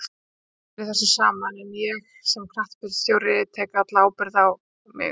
Við erum allir í þessu saman en ég, sem knattspyrnustjórinn, tek alla ábyrgðina á mig.